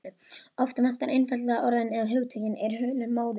Oft vantar einfaldlega orðin- eða hugtökin eru hulin móðu.